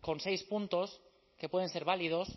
con seis puntos que pueden ser válidos